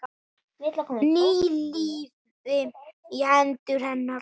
Ný lífi í hendur hennar.